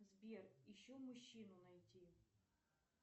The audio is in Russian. сбер еще мужчину найти